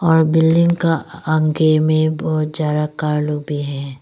और बिल्डिंग का आगे में बहुत ज्यादा कार लोग भी हैं।